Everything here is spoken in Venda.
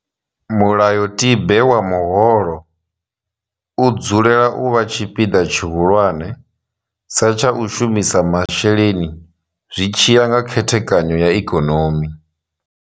Mulayotibe wa muholo u dzulela u vha tshipiḓa tshihulwane sa tsha u shumisa masheleni zwi tshi ya nga khethekanyo ya ikonomi.